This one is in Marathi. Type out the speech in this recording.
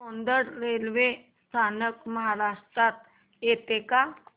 सौंदड रेल्वे स्थानक महाराष्ट्रात येतं का